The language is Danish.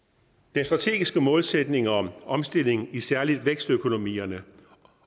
den strategiske målsætning om omstilling særlig i vækstøkonomierne